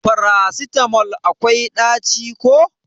Farasitamol akwai daci ko?